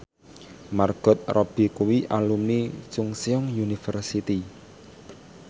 Margot Robbie kuwi alumni Chungceong University